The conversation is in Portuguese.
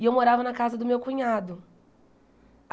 E eu morava na casa do meu cunhado.